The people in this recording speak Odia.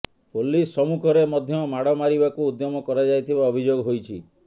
ପୋଲିସ ସମ୍ମୁଖରେ ମଧ୍ୟ ମାଡ ମାରିବାକୁ ଉଦ୍ୟମ କରାଯାଇଥିବା ଅଭିଯୋଗ ହୋଇଛି